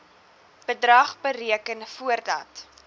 bedrag bereken voordat